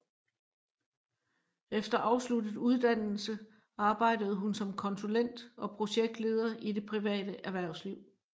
Efter afsluttet uddannelse arbejdede hun som konsulent og projektleder i det private erhvervsliv